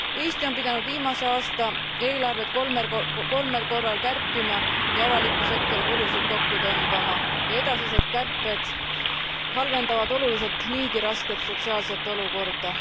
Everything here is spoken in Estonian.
Eesti on pidanud viimase aasta eelarvet kolmel korral kärpima ja avaliku sektori kulusid kokku tõmbama ja edasised kärped halvendavad oluliselt niigi rasket sotsiaalset olukorda.